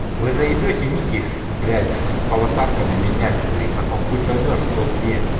вы заебете никис блять с аватарками менять свои потом хуй поймёшь кто где